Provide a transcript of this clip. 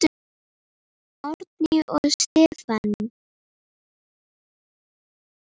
Árný og Stefán.